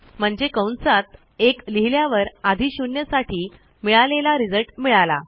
म्हणजे कंसात 1 लिहिल्यावर आधी 0साठी मिळालेला रिझल्ट मिळाला